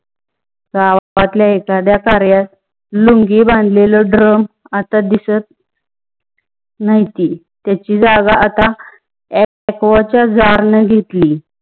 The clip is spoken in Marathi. गावातल्या एखाद्या कार्याला लुंगी बांधलेला drum आता दिसत नहिती. त्‍याची जागा आता आक्‍वाच्‍या jar न घेतली.